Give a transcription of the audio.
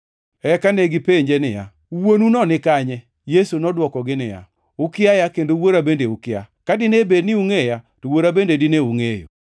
Eka negipenje niya, “Wuonuno nikanye?” Yesu nodwokogi niya, “Ukiaya kendo Wuora bende ukia. Ka dine bed ni ungʼeya, to Wuora bende dine ungʼeyo.”